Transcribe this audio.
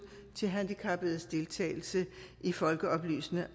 til handicappedes deltagelse i folkeoplysende